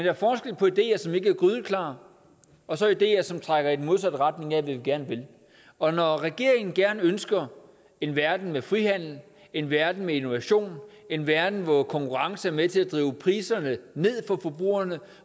er forskel på ideer som ikke er grydeklare og så ideer som trækker i den modsatte retning af hvad vi gerne vil og når regeringen ønsker en verden med frihandel en verden med innovation en verden hvor konkurrence er med til at drive priserne ned for forbrugerne